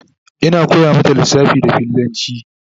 Ina koya mata lissafa da fillanci